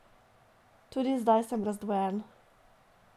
Tudi zdaj sem razdvojen.